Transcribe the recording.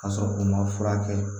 Ka sɔrɔ u ma furakɛ